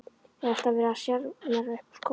Er alltaf verið að sjarmera upp úr skónum?